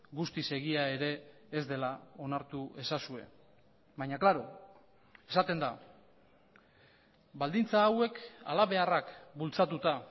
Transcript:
guztiz egia ere ez dela onartu ezazue baina klaro esaten da baldintza hauek halabeharrak bultzatuta